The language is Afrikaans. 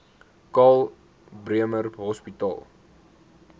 karl bremer hospitaal